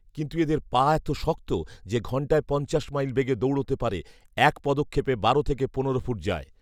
কিন্তু এদের পা এত শক্ত যে ঘন্টায় পঞ্চাশ মাইল বেগে দৌড়াতে পারে; এক পদক্ষেপে বারো থেকে পনেরো ফুট যায়